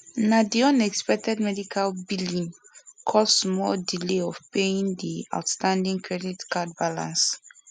na di unexpected medical billing cause small delay of paying di outstanding credit card balance